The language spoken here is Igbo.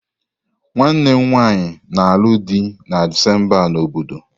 Nwanne m nwanyị na-alụ di na Disemba a na obodo.